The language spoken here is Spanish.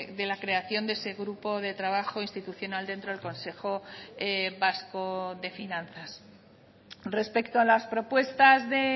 de la creación de ese grupo de trabajo institucional dentro del consejo vasco de finanzas respecto a las propuestas de